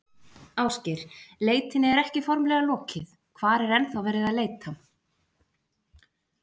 Ásgeir, leitinni er ekki formlega lokið, hvar er ennþá verið að leita?